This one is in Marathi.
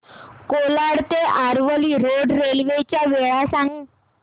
कोलाड ते आरवली रोड रेल्वे च्या वेळा सांग